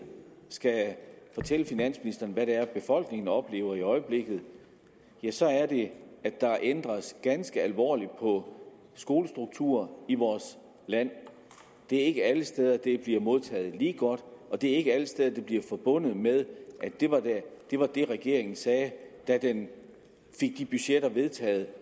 skal fortælle finansministeren hvad det er befolkningen oplever i øjeblikket ja så er det at der ændres ganske alvorligt på skolestrukturen i vores land det er ikke alle steder det bliver modtaget lige godt og det er ikke alle steder det bliver forbundet med at det var det regeringen sagde da den fik de budgetter vedtaget